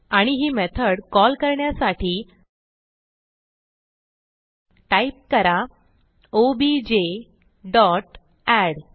आणि ही method call करण्यासाठी टाईप करा ओबीजे डॉट एड